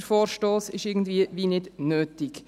Der Vorstoss ist irgendwie wie nicht nötig.